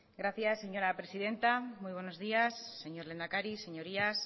gracias señora presidenta muy buenos días señor lehendakari señorías